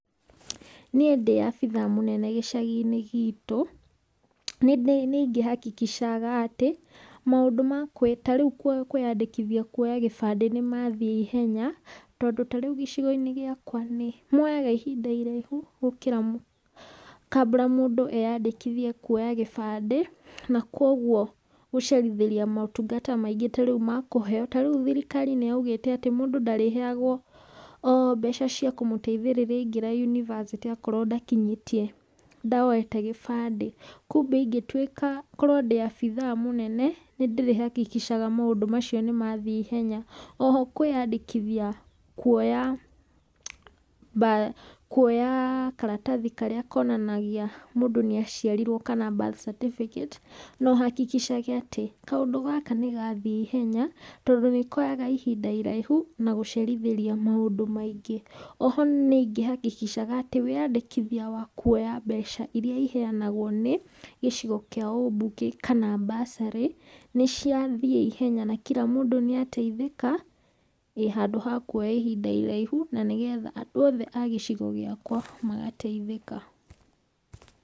Niĩ ndĩ abitha mũnene gĩcagĩ-inĩ gitũ, nĩ ingĩ hakikisha ga atĩ, maũndũ, tarĩu kwĩyandĩkithia kũoya gĩbandĩ nĩ mathiĩ ihenya, tondũ tarĩu gĩcigo-inĩ gĩakwa nĩ moyaga ihinda irĩraihu gũkira, kambũra mũndũ eyandĩkithie kwoya gĩbandĩ na kwoguo gũcerithĩria motungata maingĩ, tarĩu thirikari nĩ yaugĩte mũndũ ndarĩheyangwo o mbeca cia kũingĩra university okorwo ndakinyĩtie, ndoete gĩbandĩ. Kumbĩ, korwo ndĩ obĩtha mũnene, nĩ ndĩrĩ hakikisha ga maũndũ macio nĩ mathiĩ ihenya. Oho kwĩyandĩkithia kuoya karatathi karĩa konanagia mũndũ nĩ aciarirwo kana birth certificate. No hakikisha ge atĩ kaũndũ gaka nĩ gathiĩ ihenya na nĩ koyaga ihinda iraihu, na gũcerithĩria maũndũ maingĩ. Oho nĩ ingĩ hakikisha ga atĩ, wĩyandĩkithia wa mbeca iria ciheyanagwo cia gĩcigo kĩa ũmbunge kana bursary nĩ cia thiĩ naihenya kinyĩra mũndũ na ateithĩka, handũ wa kuoya ihinda iraihu na nĩgetha andũ othe a gĩcigo gĩakwa magateithĩka.